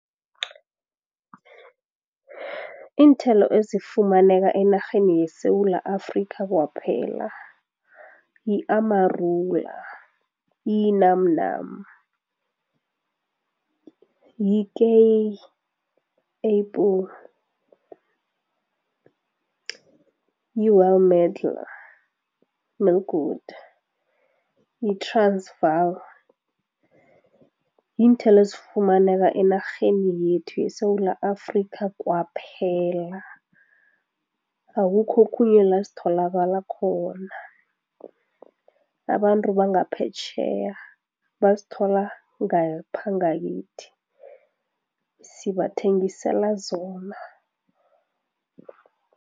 Iinthelo ezifumaneka enarheni yeSewula Afrika kwaphela, yi-amarula, yi-num num, yi-kei apple, yi-well medlar, , yi yiinthelo ezifumaneka enarheni yethu yeSewula Afrika kwaphela, akukho okhunye la zitholakala khona, abantu bangaphetjheya bazithola ngapha ngakithi, sibathengisela zona.